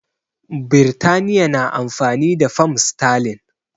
Birtaniya na amfani da fam sterling